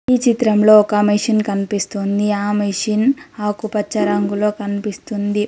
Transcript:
ఈ చిత్రంలో ఒక మిషన్ కనిపిస్తుంది ఆ మెషిన్ ఆకుపచ్చ రంగులో కనిపిస్తుంది.